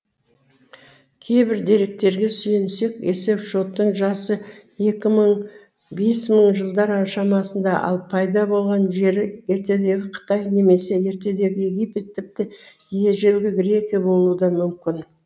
кейбір деректерге сүйенсек есепшоттың жасы екі мың бес мың жылдар шамасында ал пайда болған жері ертедегі қытай немесе ертедегі египет тіпті ежелгі грекия болуы да мүмкін